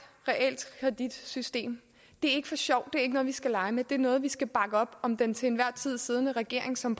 realkreditsystem det er ikke for sjov det er ikke noget vi skal lege med det er noget hvor vi skal bakke op om den til enhver tid siddende regering som